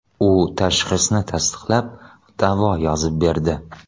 U tashxisni tasdiqlab, davo yozib berdi.